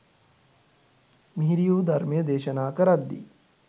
මිහිරි වූ ධර්මය දේශනා කරද්දී